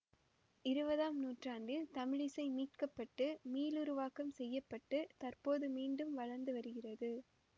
இருபதாம் நூற்றாண்டில் தமிழிசை மீட்க பட்டு மீளுருவாக்கம் செய்ய பட்டு தற்போது மீண்டும் வளர்ந்து வருகிறது